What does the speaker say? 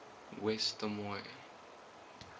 west des moines